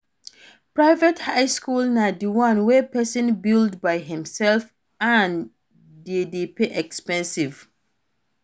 Private high school na di one wey persin build by himself and de dey expensive